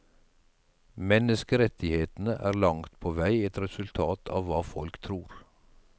Menneskerettighetene er langt på vei et resultat av hva folk tror.